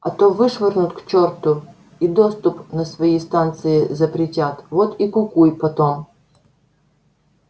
а то вышвырнут к чёрту и доступ на свои станции запретят вот и кукуй потом